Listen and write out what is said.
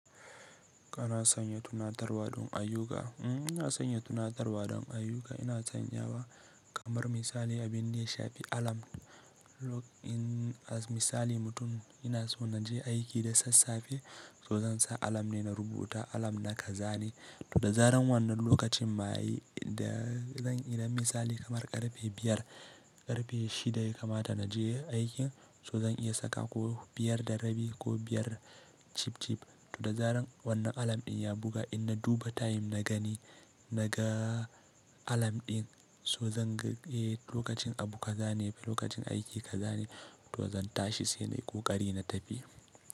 Kana sanya tunatarwa don ayyuka? Mm, ina sanya tunatarwa don ayyuka. Ina sanyawa kamar misali abin da ya shafi alarm. Lok in misali mutum yana so na je aiki da sassafe, so zan sa alarm ne na rubuta alarm na kaza ne. To da zaran wannan lokacin ma yayi da zan yi misali kamar ƙarfe biyar, ƙarfe shida ya kamata na je aikin so zan iya saka ko biyar da rabi ko biyar chip chip. To da zaran wannan alam din ya buga, in na duba time na gani naga alam din so zan ga, eh lokacin abu ka zane, lokacin aiki ka zane to zan tashi sai nai ƙoƙari na tafi.